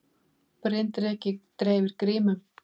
Bryndreki dreifir grímum